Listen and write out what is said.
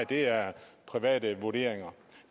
det er private vurderinger